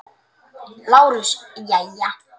LÁRUS: Jæja?